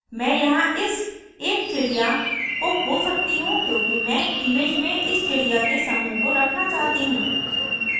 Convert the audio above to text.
मैं यहाँ इस एक चिड़िया को खो सकती हूँ क्योंकि मैं image में इस चिड़ियों के समूह को रखना चाहती हूँ